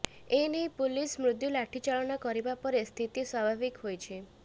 ଏ ନେଇ ପୁଲିସ ମୃଦ୍ୟୁ ଲାଠି ଚାଳନା କରିବା ପରେ ସ୍ଥିତି ସ୍ୱାଭିବିକ ହୋଇଛି